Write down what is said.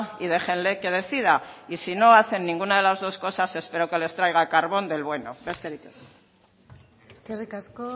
y déjenle que decida y si no hacen ninguna de las dos cosas espero que les traiga carbón del bueno besterik ez eskerrik asko